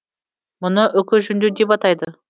мұны үкі жүндеу деп атайды